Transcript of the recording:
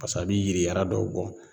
Pase a bi yiri yara dɔw bɔ